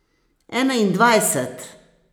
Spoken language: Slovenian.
Enaindvajset ...